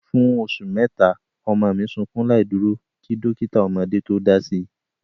Fún oṣù mẹ́ta, ọmọ mi sukún láìdúró kí dọ́kítà ọmọdé tó dási.